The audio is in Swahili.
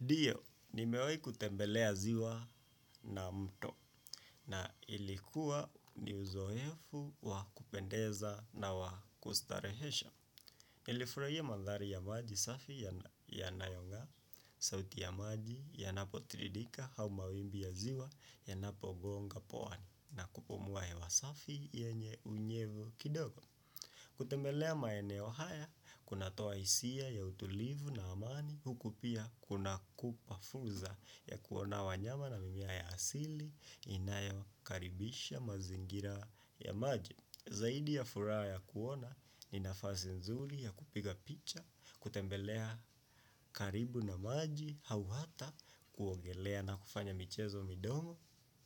Ndio, nimewai kutembelea ziwa na mto na ilikuwa ni uzoefu wakupendeza na wakustarehesha. Ilifurahia mandhari ya maji safi ya nayonga, sauti ya maji yanapo tririka hau ma wimbi ya ziwa yanapogonga poani na kupomoa hewa safi yenye unyevo kidogo. Kutembelea maeneo haya kuna toa isia ya utulivu na amani hukupia kuna kupafuza ya kuona wanyama na mimea ya asili inayo karibisha mazingira ya maji. Zaidi ya fura ya kuona ni nafasi nzuri ya kupiga picha, kutembelea karibu na maji, hauhata, kuongelea na kufanya michezo midogo,